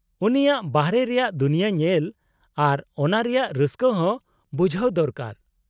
-ᱩᱱᱤᱭᱟᱜ ᱵᱟᱨᱦᱮ ᱨᱮᱭᱟᱜ ᱫᱩᱱᱭᱟᱹ ᱧᱮᱞ ᱟᱨ ᱚᱱᱟ ᱨᱮᱭᱟᱜ ᱨᱟᱹᱥᱠᱟᱹ ᱦᱚᱸ ᱵᱩᱡᱦᱟᱹᱣ ᱫᱚᱨᱠᱟᱨ ᱾